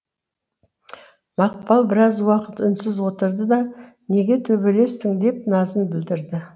мақпал біраз уақыт үнсіз отырды да неге төбелестің деп назын білдірді